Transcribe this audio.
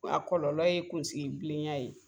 A kɔlɔlɔ ye kunsigi bilenya ye